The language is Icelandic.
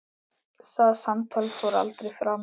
Það samtal fór aldrei fram.